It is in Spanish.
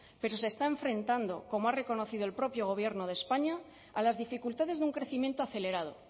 pero se está enfrentando como ha reconocido el propio gobierno de españa a las dificultades de un crecimiento acelerado